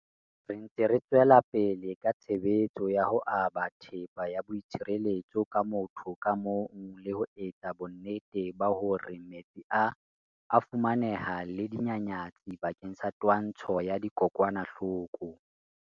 Re ntse re tswela pele ka tshebetso ya ho aba thepa ya boi tshireletso ba motho ka mong le ho etsa bonnete ba hore metsi a a fumaneha le dinyanyatsi bakeng sa twantsho ya dikokwanahloko.